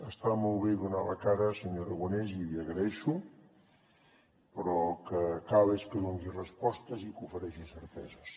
està molt bé donar la cara senyor aragonès i l’hi agraeixo però el que cal és que doni respostes i que ofereixi certeses